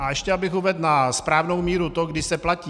A ještě abych uvedl na správnou míru to, kdy se platí.